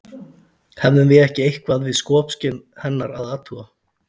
Hefðum við ekki eitthvað við skopskyn hennar að athuga?